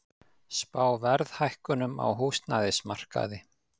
Spá verðhækkunum á húsnæðismarkaði